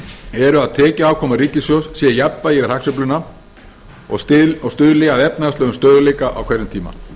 er að tekjuafkoma ríkissjóðs sé í jafnvægi yfir hagsveifluna og stuðli að efnahagslegum stöðugleika á hverjum tíma